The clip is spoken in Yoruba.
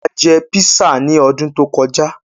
A jẹ písà ní ọdún tó kọjá.